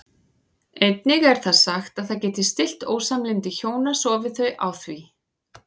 Einnig er sagt að það geti stillt ósamlyndi hjóna sofi þau á því.